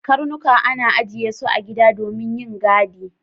Karnuka ana ajiye su a gida domin yin gadi.